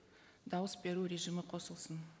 дауыс беру режимі қосылсын